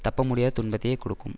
தப்பமுடியாத துன்பத்தையே கொடுக்கும்